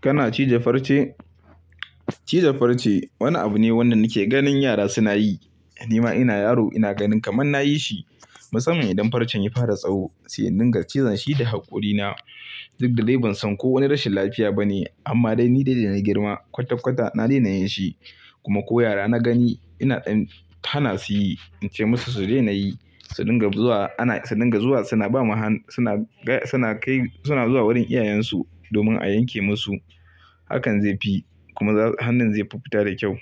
Kana cije farce? Cije farce wani abu ne wanda nake ganin yara suna yi. Ni ma ina yaro ina ganin kamar na yi shi. Musamman idan farcen ya fara tsawo, sai dinga cizon shi da haƙorina. Duk da ban san ko wani rashin lafiya bane amma dai ni dai da na girma kwatakwata na daina yin shi. Kuma ko yara na gani ina ɗan hana su yi, in ce musu su daina yi, su dinga zuwa ana, su dinga zuwa suna ba mu han, suna ga, suna kai suna zuwa wurin iyayensu domin a yanke musu. Hakan zai fi kuma hannun zai fi fita da kyau.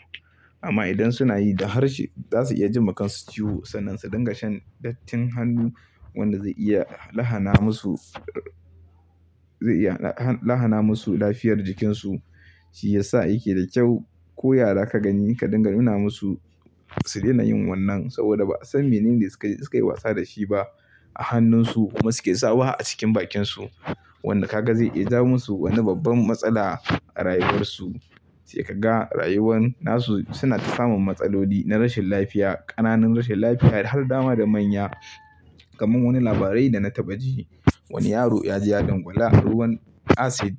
Amma idan suna yi da harshe za su iya ji ma kansu ciwo sannan su dinga shan dattin hannu wanda zai iya lahana musu, zai iya lahana musu lafiyar jikinsu. Shi ya sa yake da kyau ko yara ka gani ka dinga nuna musu su daina yin wannan saboda ba san menene suke, suke yi wasa da shi ba a hannunsu kuma suke sa waha a cikin bakinsu. Wanda ka ga zai iya ja musu wani babban matsala a rayuwarsu. Sai ka ga rayuwan nasu suna ta samun matsaloli na rashin lafiya, ƙananun rashin lafiya da har dama da manya. Kaman wani labarai da na taɓa ji, wani yaro ya ji ya dangwala ruwan acid,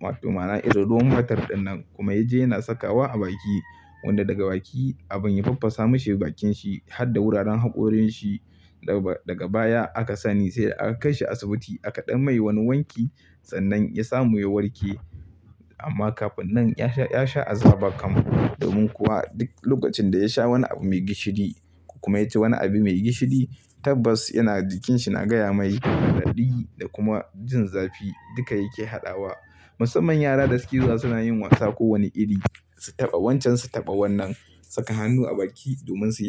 wato ma'ana ruwan batir dinnan kuma ya je yana sakawa a baki. Wanda daga baki abin ya faffasa mishi bakin shi har da wuraren haƙorinshi. Daga baya aka sani sai da aka kai shi asibiti aka ɗan mai wani wanki sannan ya samu ya warke. Amma kafin nan ya sha, ya sha azaba kamar. Domin kuwa duk lokacin da ya sha wani abu mai gishiri kuma ya ci wani abu mai gishiri tabbas yana jikinshi na gaya mai raɗaɗi da kuma jin zafi duka yake haɗawa. Musamman yara da suke zuwa suna yin wasa kowane iri. Su taɓa wancan su taɓa wannan. Saka hannu a baki domin su,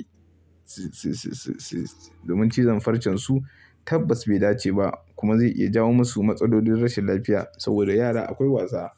su, su, su, su, su domin cizon farcen su tabbas bai dace ba kuma zai iya jawo musu matsalolin rashin lafiya saboda yara akwai wasa.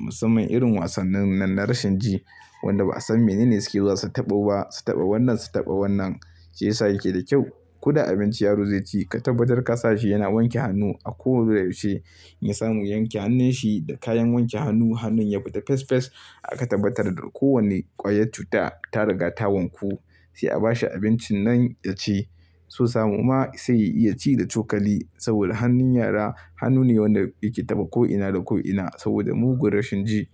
Musamman irin wasannin nan na rashin ji wanda ba'a san menene suke zuwa su taɓo ba. Su taɓa wannan su taɓa wannan. Shi ya sa yake da kyau. Kuda abinci yaro zai ci ka tabbatar ka sa shi yana wanke hannu a koyaushe. In samu yanke hannun shi da kayan wanke hannu hannun ya fita fes fes aka tabbatar da kowane ƙwayar cuta ta riga ta wanku. Sai a ba shi abincin nan ya ci. So samu ma sai ya iya ci da cokali saboda hannun yara hannu ne wanda yake taɓa ko'ina da ko'ina saboda mugun rashin ji.